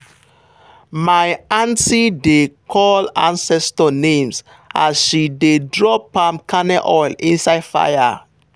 my aunty dey call ancestor names as she dey drop palm kernel oil inside fire.